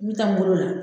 N bɛ taa n bolo la